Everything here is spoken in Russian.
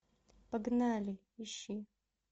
погнали ищи